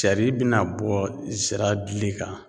Cari bi na bɔ zira dili kan